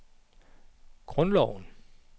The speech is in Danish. grundloven